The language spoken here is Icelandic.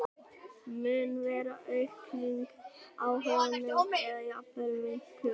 Mun vera aukning á honum eða jafnvel minnkun?